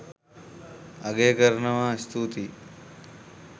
අගය කරනවා ස්තුතියි